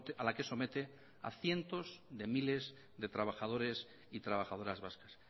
a la que somete a cientos de miles de trabajadores y trabajadoras vascas